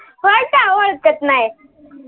व्हाय काय ओळखत नाही